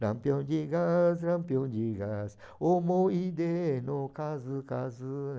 Lampião de gás, lampião de gás, homo e deno, casu, casu.